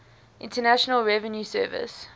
internal revenue service